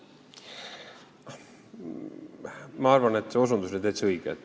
Ma arvan, et see osutus oli täitsa õige.